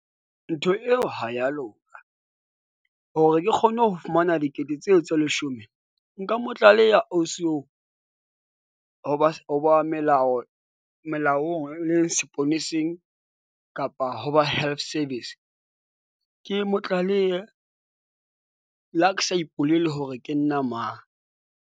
Ntho eo ha ya loka hore ke kgone ho fumana dikete tseo tse leshome. Nka mo tlaleha, ausi oo ho ba ho ba melao, melaong le seponeseng kapa ho ba health service. Ke mo tlalehe le ha ke sa ipolele hore ke nna mang.